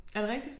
Er det rigtigt?